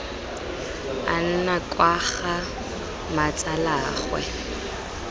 a nna kwa ga mmatsalaagwe